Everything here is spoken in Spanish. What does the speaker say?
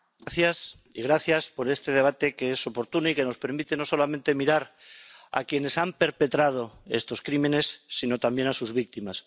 Señora presidenta, gracias por este debate que es oportuno y que nos permite no solamente mirar a quienes han perpetrado estos crímenes, sino también a sus víctimas.